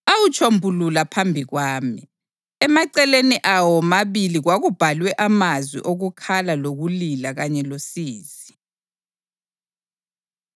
awutshombulula phambi kwami. Emaceleni awo womabili kwakubhalwe amazwi okukhala lokulila kanye losizi.